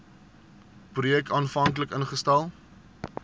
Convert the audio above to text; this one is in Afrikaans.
projek aanvanklik ingestel